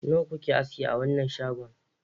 Nawa kuke aski a wanan shagon?